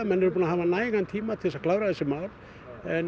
menn eru búnir að hafa nægan tíma til að klára þessi mál en